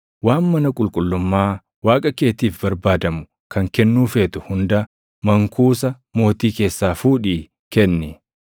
Waan mana qulqullummaa Waaqa keetiif barbaadamu kan kennuu feetu hunda mankuusa mootii keessaa fuudhii kenni.